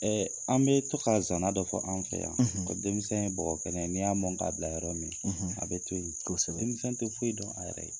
an bɛ to ka zaana dɔ fɔ an fɛ yan ko denmisɛn ye bɔgɔ kɛnɛ ye n'i y'a mɔ k'a bila yɔrɔ min a bɛ to yen kosɛbɛ denmisɛn tɛ foyi dɔn a yɛrɛ ye.